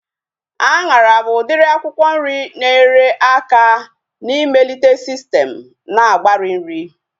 Anyara bụ udiri akwụkwọ nri na-enyere aka na-ịmelite sistem na-agbari nri